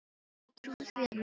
Við trúðum því að minnsta kosti.